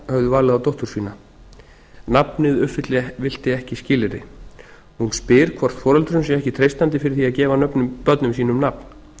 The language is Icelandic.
höfðu valið á dóttur sína nafnið uppfyllti ekki skilyrði hún spyr hvort foreldrum sé ekki treystandi fyrir því að gefa börnum sínum nafn